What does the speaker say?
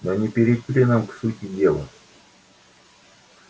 но не перейти ли нам к сути дела